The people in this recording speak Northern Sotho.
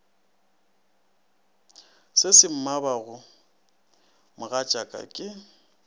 se se mmabago mogatšaka ke